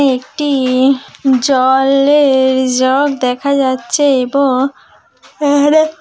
আমি একটি-ই জলে-র জগ দেখা যাচ্ছে এবং --